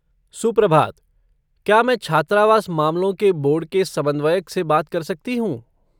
सुप्रभात, क्या मैं छात्रावास मामलों के बोर्ड के समन्वयक से बात कर सकती हूँ?